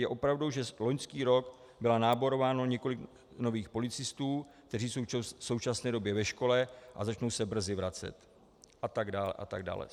Je pravdou, že loňský rok bylo náborováno několik nových policistů, kteří jsou v současné době ve škole a začnou se brzy vracet... a tak dále a tak dále.